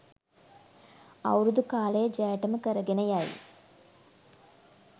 අවුරුදු කාලයේ ජයටම කරගෙන යයි